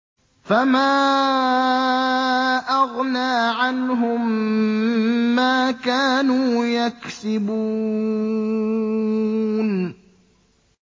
فَمَا أَغْنَىٰ عَنْهُم مَّا كَانُوا يَكْسِبُونَ